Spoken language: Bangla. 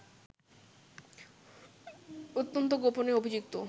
অত্যন্ত গোপনে অভিযুক্ত